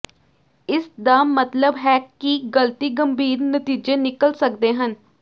ਇਸ ਦਾ ਮਤਲਬ ਹੈ ਕਿ ਗਲਤੀ ਗੰਭੀਰ ਨਤੀਜੇ ਨਿਕਲ ਸਕਦੇ ਹਨ